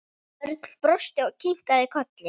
Örn brosti og kinkaði kolli.